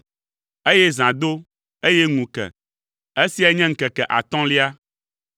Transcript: Eye zã do, eye ŋu ke. Esiae nye ŋkeke atɔ̃lia.